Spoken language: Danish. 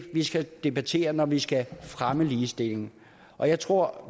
vi skal debattere når vi skal fremme ligestillingen og jeg tror